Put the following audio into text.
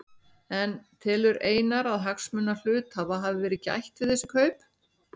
En telur Einar að hagsmuna hluthafa hafi verið gætt við þessi kaup?